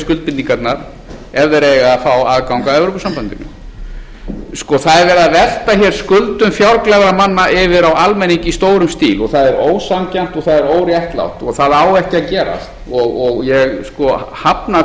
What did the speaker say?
það er verið að velta hér skuldum fjárglæframanna yfir á almenning í stórum stíl og það er ósanngjarnt og það er óréttlátt og það á ekki að gera ég hafna